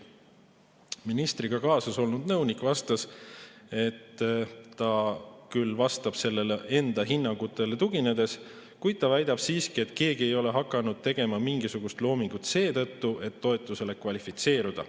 Ministriga kaasas olnud nõunik vastas, et ta küll vastab enda hinnangutele tuginedes, kuid ta väidab siiski, et keegi ei ole hakanud tegema mingisugust loomingut seetõttu, et toetusele kvalifitseeruda.